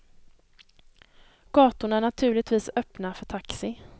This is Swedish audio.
Gatorna är naturligtvis öppna för taxi.